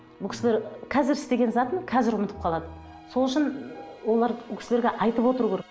бұл кісілер қазір істеген затын қазір ұмытып қалады сол үшін олар бұл кісілерге айтып отыру керек